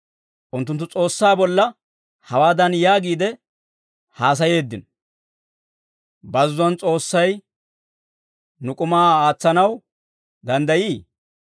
Unttunttu S'oossaa bolla hawaadan yaagiide haasayeeddino; «Bazzuwaan S'oossay nuw k'umaa aatsanaw danddayii?